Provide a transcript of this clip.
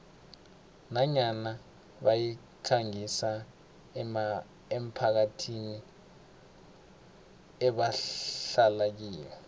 nanyana bayikhangisa emphakathini ebahlala kiyo